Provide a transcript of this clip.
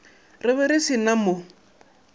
re be re sa mo